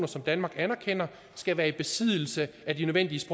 som danmark anerkender skal være i besiddelse af de nødvendige